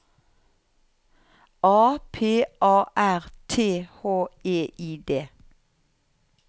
A P A R T H E I D